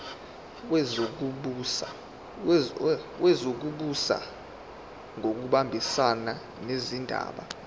wezokubusa ngokubambisana nezindaba